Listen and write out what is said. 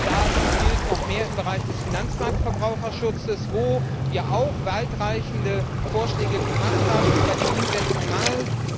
Das gilt noch mehr im Bereich des Finanzmarktverbraucherschutzes, wo wir auch weitreichende Vorschläge gemacht haben, es aber an der Umsetzung mangelt.